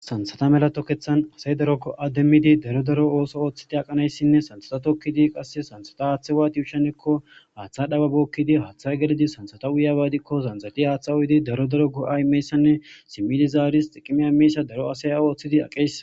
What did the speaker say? Sansata melato kethan asay darokko ademmidi daro daro ooso ooththiti aqanayssinne sansata tokkidi qasse sansata haaththe waati ushshenekko haaththa dhawa bookkidi haaththa gelidi sansata uyabadikko zanzati haaththa uyidi daro daro go7a imeyssanne simmidi zaaris xiqimia imeysa daro asaya ooththidi aqes.